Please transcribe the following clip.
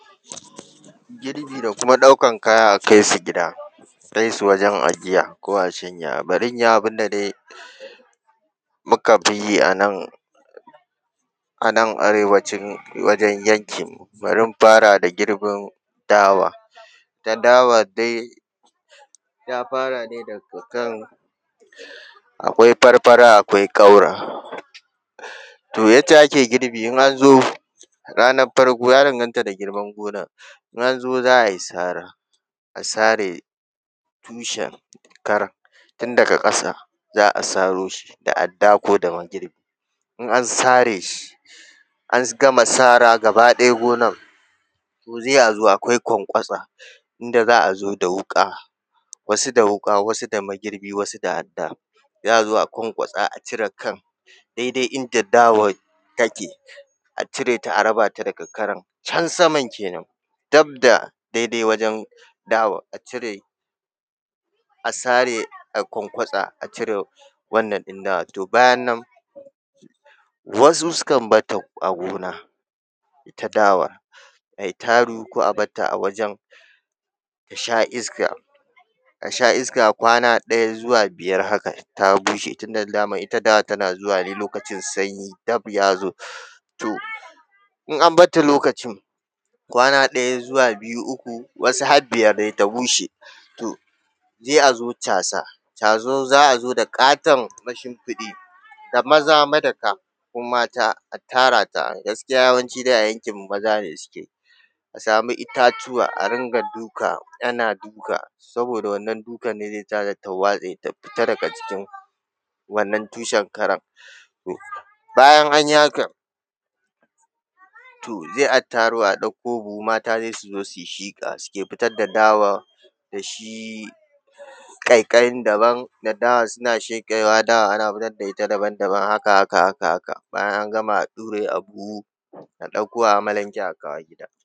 Girbi da kuma ɗaukar kaya, a kai su gida, a kai su wajen ajiya ko a shanya, bari in yi abin da dai muka fi yi a nan, a nan Arewacin wajen yankinmu, bari in fara da girbin dawa. Ita dawa dai ta fara ne daga kan, akwai farfara akwai ƙaura. To yadda ake girbi in an zo ranar farko, ya danganta da girman gonar. In an zo, za a yi sara, a sare tushen karar, tun daga ƙasa za a saro shi da adda ko da magirbi. In an sare shi, an gama sara gaba ɗaya gonar, to sai a zo, akwai kwankwatsa, inda za a zo da wuƙa, wasu da wuƙa, wasu da magirbi, wasu da adda, za a zo a kwankwatsa, a cire kan, daidai inda dawar take, a cire ta, a raba ta da karan, can saman kenan, dab da daidai wajen dawar, a cire, a sare, a kwankwatsa, a cire wannan ɗin dawar. To bayan nan, wasu sukan bar ta a gona, ita dawar, a yi taru ko a bar ta a wajen ta sha iska, ta sha iska ta sha iska kwana ɗaya zuwa biyar haka ta bushe tunda daman ita dawa tana zuwa ne lokacin sanyi dab ya zo. To in an bar ta lokacin, kwana ɗaya zuwa biyu, uku, wasu har biyar dai, ta bushe. To sai a zo casa, tazo za a zo da ƙaton mashimfiɗi da maza madaka ko mata, a tara ta. A gaskiya dai a yankinmu, maza ne suke yi. A samu itatuwa a rinƙa duka, ana duka, saboda wannan dukan ne zai sa ta, ta waste, ta fita daga jikin wannan tushen karan. To bayan an yi hakan, to sai a taro, a ɗauko buhu, mata dai su zo su yi shiƙa, suke fitar da dawar da shi ƙaiƙayin daban da dawa suna sheƙewa, dawa ana fitar da ita daban daban, haka haka haka haka. Bayan an gama, a ɗure a buhu, a ɗauko a amalanke, a kawo gida.